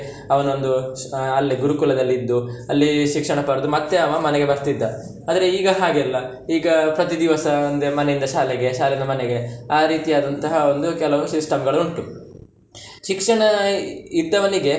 ಅವನೊಂದು ಆಹ್ ಅಲ್ಲಿ ಗುರುಕುಲದಲ್ಲಿ ಇದ್ದು ಅಲ್ಲಿ ಶಿಕ್ಷಣ ಪಡೆದು ಮತ್ತೆ ಅವ ಮನೆಗೆ ಬರ್ತಿದ್ದ, ಆದ್ರೆ ಈಗ ಹಾಗೆ ಅಲ್ಲ ಈಗ ಪ್ರತಿದಿವಸ ಒಂದು ಮನೆಯಿಂದ ಶಾಲೆಗೆ ಶಾಲೆಯಿಂದ ಮನೆಗೆ, ಆರೀತಿ ಆದಂತಹ ಒಂದು ಕೆಲವು system ಗಳು ಉಂಟು, ಶಿಕ್ಷಣ ಇದ್ದವನಿಗೆ.